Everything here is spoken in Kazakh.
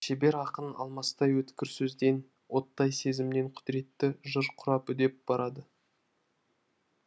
шебер ақын алмастай өткір сөзден оттай сезімнен құдіретті жыр құрап үдеп барады